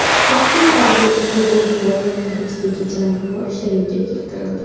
Toshkent harbiy okrugi yuqori darajadagi jangovar shaylikka keltirildi.